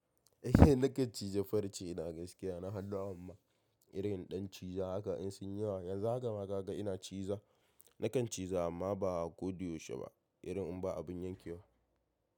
Eh nakan cije farce na gaskiya na haɗu amma irin ɗan ciza haka in sun yi yawa yanzu haka ma ka ga ina ciza nakan ciza amma ba kodayau she ba irin in ba abin yankewa.